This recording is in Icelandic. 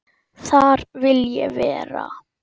Þar vil ég vera.